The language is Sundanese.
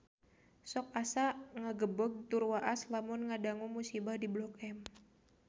Sok asa ngagebeg tur waas lamun ngadangu musibah di Blok M